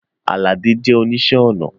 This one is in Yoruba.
Aládé jẹ̀ oníṣẹ̀ onà